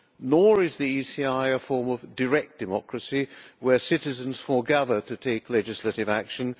Nor is the ECI a form of direct democracy where citizens foregather to take legislative action.